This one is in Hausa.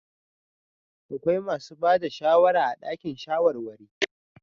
Akwai masu ba da shawara a dakin shawarwari.